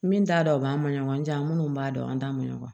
Min t'a dɔn o b'an ni ɲɔgɔn cɛ an minnu b'a dɔn an t'a ma ɲɔgɔn ye